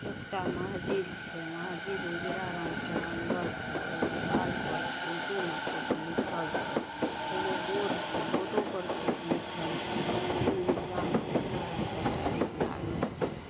एकटा मस्जिद छै मस्जिद उजरा रंग से रंगल छै ओय दीवाल में उर्दू से कुछ लिखल छै एगो बोर्ड छै बोर्ड पर कुछ लिखल छै नीचा मे उजरा रंग के टाइल्स लागल छै।